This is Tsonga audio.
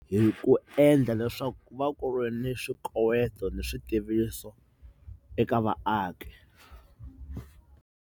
Hi ku endla leswaku ku va ku ri ni swikoweto ni swi tiviso eka vaaki.